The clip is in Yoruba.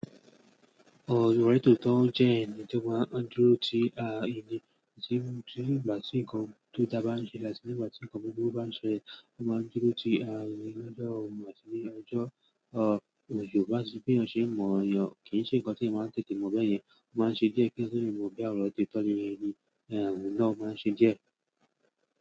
Ọ, ní tòótọ́, ó jẹ́ ẹnì tó máa ń dúró ti ara ènìyàn. Kíní tí ìgbà tí nǹkan tó dá bá n ṣe lásánì, ìgbà tí nǹkan gbígbó bá ń ṣe ẹ, ó máa ń dúró ti ara ènìyàn. Ọjọ́ ọmọ àsèyìn, ọjọ́ ọ̀ Yorùbá ṣiṣẹ́ bí ọ̀ ṣe mọ̀ èèyàn kì í ṣe ǹkan tí ẹ́ máa ń tètè mọ̀ ọbẹ́ẹ̀ yẹn. Ó máa ń ṣe díẹ̀ kí èèyàn tó lè mọ sì máa mọ̀ bí àwọn ọ̀dọ́ tọ́ni ẹni ẹ̀wọ̀n náà máa ń ṣe díẹ̀.